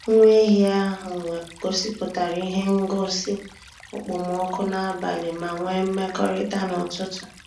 Nwa ehi ahụ gosipụtara ihe ngosi okpomọkụ n'abalị ma nwee mmekọrịta n'ụtụtụ.